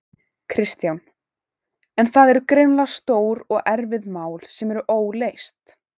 Kristján: En það eru greinilega stór og erfið mál sem eru óleyst?